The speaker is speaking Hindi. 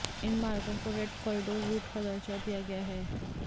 इन मार्गों को रेड कॉरीडोर रूट का दर्जा दिया गया है